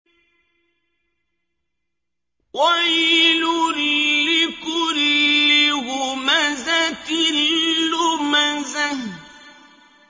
وَيْلٌ لِّكُلِّ هُمَزَةٍ لُّمَزَةٍ